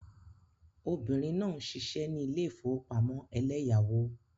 Obìnrin náà ń ṣiṣẹ́ ní ilé ìfowópamọ́ eleyawo.